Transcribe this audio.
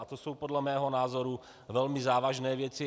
A to jsou podle mého názoru velmi závažné věci.